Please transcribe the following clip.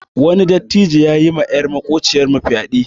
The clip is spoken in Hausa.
Wani dattijo yayi ma yar makociyar mu fyaɗe.